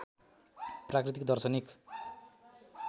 प्राकृतिक दर्शनिक